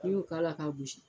Ni y'o k'a la ka gosi